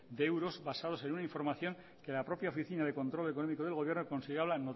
de euros basados en una información que la propia oficina de control económico del gobierno consideraba